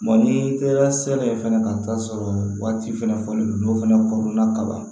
n'i taara sɛnɛ fɛnɛ ka t'a sɔrɔ waati fɛnɛ fɔlen don n'o fana ko la kaba